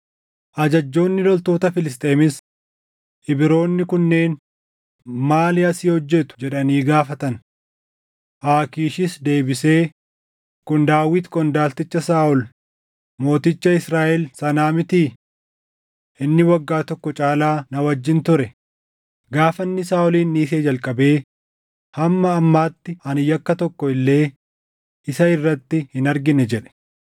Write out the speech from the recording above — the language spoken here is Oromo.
Ajajjoonni loltoota Filisxeemis, “Ibroonni kunneen maali asii hojjetu?” jedhanii gaafatan. Aakiishis deebisee, “Kun Daawit qondaalticha Saaʼol mooticha Israaʼel sanaa mitii? Inni waggaa tokko caalaa na wajjin ture; gaafa inni Saaʼolin dhiisee jalqabee hamma ammaatti ani yakka tokko illee isa irratti hin argine” jedhe.